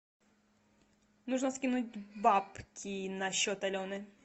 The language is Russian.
нужно скинуть бабки на счет алены